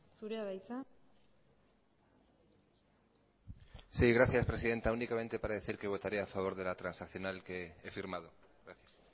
zurea da hitza sí gracias presidenta únicamente para decir que votaré a favor de la transaccional que he firmado gracias